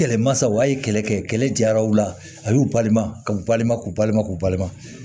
Kɛlɛmasaw a ye kɛlɛ kɛ kɛlɛ jaraw la a y'u balima ka u balima k'u balima k'u balima